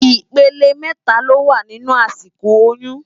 Ipélé mètá ló wá ninú àsíkó óyùn